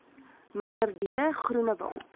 mnr d groenewald